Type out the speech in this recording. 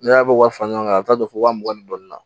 N'i y'a bɔ wa ɲɔgɔn kan a bɛ taa don fo wa mugan ni dɔɔnin na